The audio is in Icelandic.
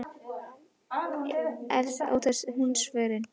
Þú stóðst þig vel, skoraðir ótal mörk.